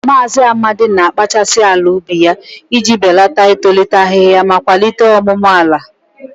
Maazị Amadi na-akpachasị ala ubi ya iji belata itolite ahihia ma kwalite ọmụmụ ala.